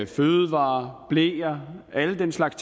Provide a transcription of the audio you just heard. fødevarer bleer og alle den slags